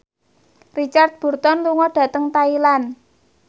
Richard Burton lunga dhateng Thailand